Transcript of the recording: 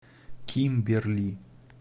кимберли